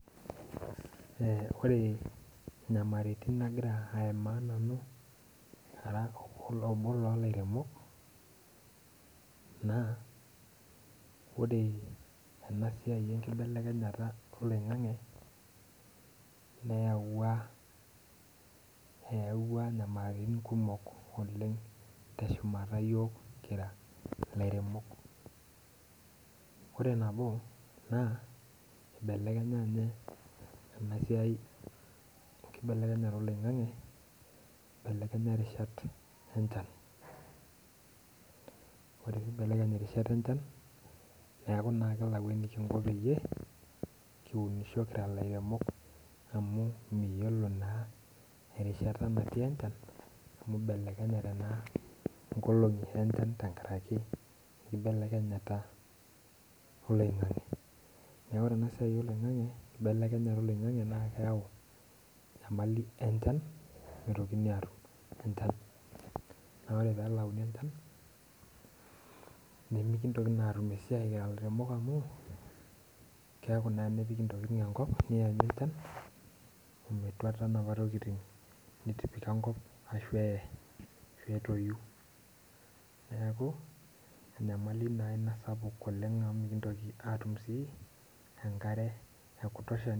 Eh ore inyamaritin nagira aimaa nanu ara obo lolairemok naa ore ena siai enkibelekenyata oloing'ang'e neyawua eyawua nyamalirin kumok oleng teshumata iyiok kiira ilairemok ore nabo naa ibelekenya inye ena siai enkibelekenyata oloing'ang'e ibelekenya irishat enchan ore piibelekeny irishat enchan neeku naa kilau enikinko peyie kiunisho kira ilairemok amu miyiolo naa erishata natii enchan amu ibelekenyate naa nkolong'i enchan tenkaraki enkibelekenyata oloing'ang'e neku ore ena siai oloing'ang'e kibelekenyata oloing'ang'e naa keyau enyamali enchan mitokini atum enchan naa ore pelauni enchan nemikintoki naa atum esiai kira ilairemok amu keeku naa enepiki intokiting enkop niyanyu enchan ometuata inapa tokiting nitipika enkop ashu eh ashu etoyu neeku enyamali naa ina sapuk oleng amu mikintoki atum sii enkare e kutosha.